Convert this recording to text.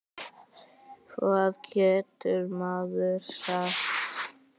Hvað getur maður sagt?